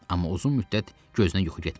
Amma uzun müddət gözünə yuxu getmədi.